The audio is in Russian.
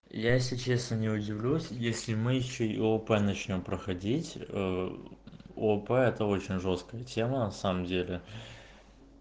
я если честно не удивлюсь если мы ещё и опэ начнём проходить опэ очень жёсткая тема на самом деле